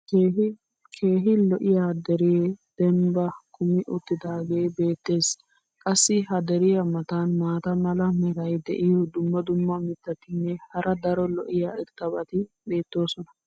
keehi lo'iya deree dembbaa kummi uttidaagee beetees. qassi ha deriya matan maata mala meray diyo dumma dumma mitatinne hara daro lo'iya irxxabati beetoosona.